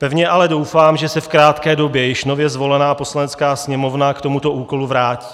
Pevně ale doufám, že se v krátké době již nově zvolená Poslanecká sněmovna k tomuto úkolu vrátí.